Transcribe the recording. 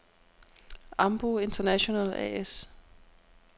Ambu International A/S